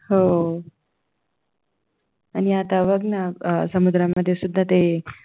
हो आणि आता बघ ना समुद्रामध्ये ते